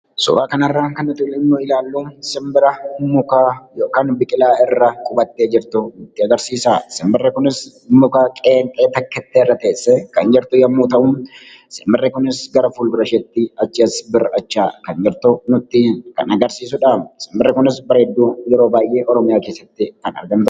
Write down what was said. Suuraa kana irraa kan nuti ilaalluu simbira muka irra yookaan biqilaa irra qubattee jirtu nutti agarsiisa. Simbirri kunis muka qeenxee tokkittii irra teessee kan jirtu yoo ta'u, simbirri kunis gara fuuldura isheetti achii as bir'achaa kan jirtu kan nuti kan agarsiisudha. Simbirri kunis bareedduu yeroo baayyee Oromiyaa keessatti kan argamtudha.